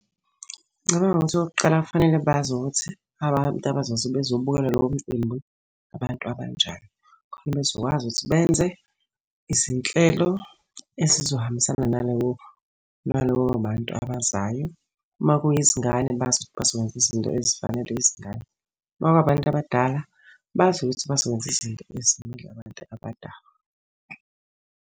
Ngicabanga ukuthi okokuqala fanele bazi ukuthi abantu abazoza bezobukela lowo mcimbi, abantu abanjani. Khona bezokwazi ukuthi benze izinhlelo ezizohambisana nalabo bantu abazayo. Uma kuyizingane bazi ukuthi bazokwenza izinto ezifanelwe yizingane. Uma kuyabantu abadala, bazi ukuthi bazokwenza izinto abantu abadala.